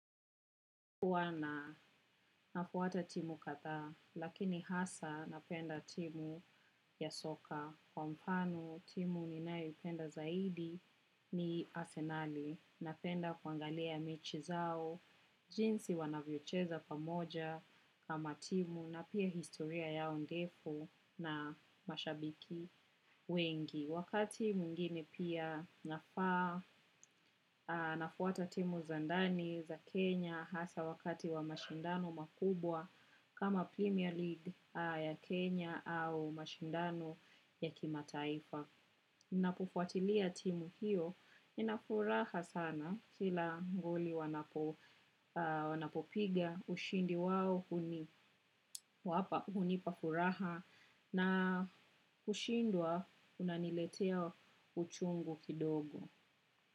Huwwa na nafuata timu kadhaa, lakini hasa napenda timu ya soka. Kwa mfano timu ninayopenda zaidi ni arsenali. Napenda kuangalia mechi zao jinsi wanavyocheza pamoja kama timu na pia historia yao ndefu na mashabiki wengi wakati mwingine pia nafaa nafuata timu za ndani za kenya hasa wakati wa mashindano makubwa kama premier league ya kenya au mashindano ya kimataifa. Ninapofuatilia timu hiyo, nina furaha sana kila goli wanapopiga ushindi wao hunipa furaha na kushindwa kunaniletea uchungu kidogo.